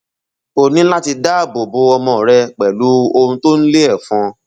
o ní láti dáàbò bo ọmọ rẹ pẹlú ohun tó ń lé ẹfọn